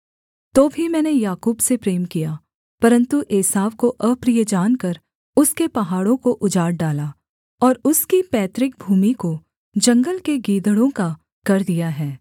तो भी मैंने याकूब से प्रेम किया परन्तु एसाव को अप्रिय जानकर उसके पहाड़ों को उजाड़ डाला और उसकी पैतृक भूमि को जंगल के गीदड़ों का कर दिया है